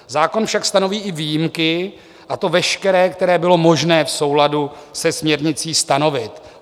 Zákon však stanoví i výjimky, a to veškeré, které bylo možné v souladu se směrnicí stanovit.